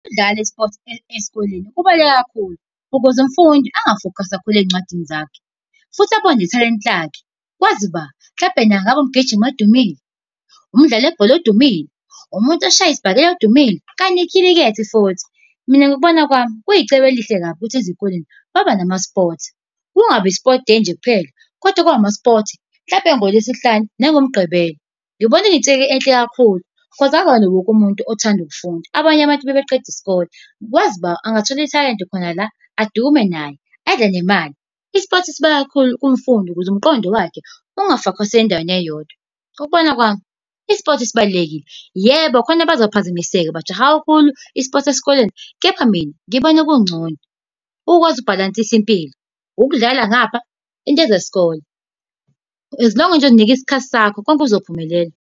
Ukudlala isipothi esikoleni kubhaluleke kakhulu, ukuze umfundi enga-focus-i kakhulu eyincwadini zakhe, futhi abone nethalente lakhe. Kwazi ba? Mhlawumpe naye engaba umgijimi odumile, umdlali webhola odumile, umuntu oshaya isibhakela odumile, kanye nekhilikethi futhi. Mina ngokubona kwami, kuyicebo elihle kabi ukuthi ezikoleni baba nama-sports. Kungabi i-sport day nje kuphela, kodwa kube ama-sports hlampe ngoLwesihlanu nangoMgqibelo. Ngibona kuyintsika enhle kakhulu, because akuwona wonke umuntu othanda ukufunda. Abanye abantu mebeqeda isikole kwazi bani, angathola ithalente khona la adume naye abe nemali. I-sport sibaluleke kakhulu kumfundi ukuze umqondo wakhe unga-focus-i endaweni eyodwa. Ngokubona kwami i-sport sibalulekile. Yebo, khona abazophazamiseka, bajahe kakhulu i-sports esikoleni. Kepha mina ngibona kungcono ukwazi ukubhalansisa impilo, ukudlala ngapha, into zesikole. As long as nje uyinike isikhathi sakho, konke kuzophumelela.